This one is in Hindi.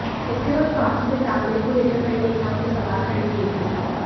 इसके बाद पार्टी में तालमेल को लेकर कई नेताओं ने सवाल खड़े किए थे